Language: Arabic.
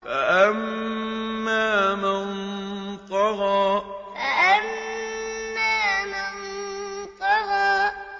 فَأَمَّا مَن طَغَىٰ فَأَمَّا مَن طَغَىٰ